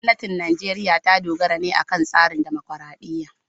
Gwamnatin Najeriya ta dogara ne akan tsarin dimokuradiyya.